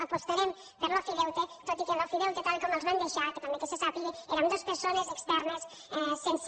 apostarem per l’ofideute tot i que l’ofideute tal com el van deixar que també se sàpiga eren dues persones externes sense